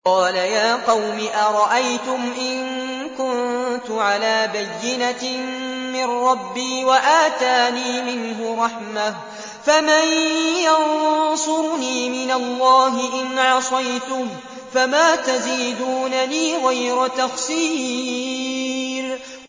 قَالَ يَا قَوْمِ أَرَأَيْتُمْ إِن كُنتُ عَلَىٰ بَيِّنَةٍ مِّن رَّبِّي وَآتَانِي مِنْهُ رَحْمَةً فَمَن يَنصُرُنِي مِنَ اللَّهِ إِنْ عَصَيْتُهُ ۖ فَمَا تَزِيدُونَنِي غَيْرَ تَخْسِيرٍ